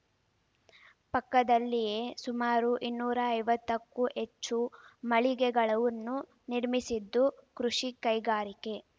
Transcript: ಪಕ್ಕದಲ್ಲಿಯೇ ಸುಮಾರು ಇನ್ನೂರ ಐವತ್ತಕ್ಕೂ ಹೆಚ್ಚು ಮಳಿಗೆಗಳನ್ನು ನಿರ್ಮಿಸಿದ್ದು ಕೃಷಿ ಕೈಗಾರಿಕೆ